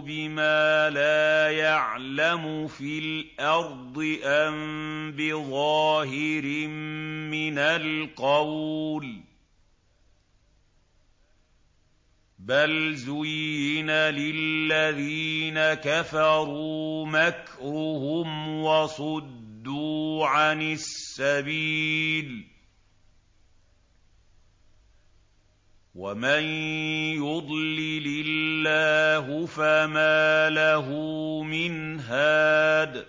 بِمَا لَا يَعْلَمُ فِي الْأَرْضِ أَم بِظَاهِرٍ مِّنَ الْقَوْلِ ۗ بَلْ زُيِّنَ لِلَّذِينَ كَفَرُوا مَكْرُهُمْ وَصُدُّوا عَنِ السَّبِيلِ ۗ وَمَن يُضْلِلِ اللَّهُ فَمَا لَهُ مِنْ هَادٍ